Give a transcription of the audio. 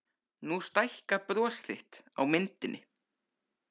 Nú stækkar bros þitt á myndinni.